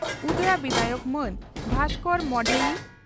ᱩᱫᱽᱲᱟ ᱵᱤᱫᱷᱟᱭᱚᱠ ᱢᱟᱹᱱ ᱵᱷᱟᱥᱠᱚᱨ ᱢᱚᱰᱷᱮᱭᱤ